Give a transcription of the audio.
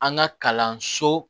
An ka kalanso